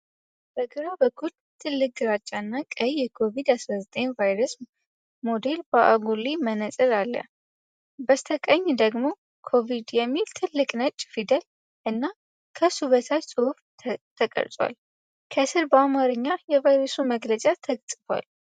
በግራ በኩል ትልቅ፣ ግራጫ እና ቀይ የኮቪድ-19 ቫይረስ ሞዴል በአጉሊ መነጽር አለ። በስተቀኝ ደግሞ "ኮቪድ" የሚል ትልቅ ነጭ ፊደል እና ከሱ በታች ጽሑፍ ተቀርጿል። ከስር በአማርኛ የቫይረሱ መግለጫ ተጽፏል።